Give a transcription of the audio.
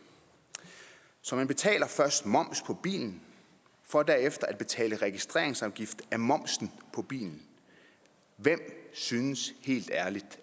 så man betaler først moms på bilen for derefter at betale registreringsafgift af momsen på bilen hvem synes helt ærligt